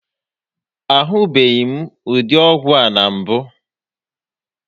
A hụbeghịm ụdị ọgwụ a na mbụ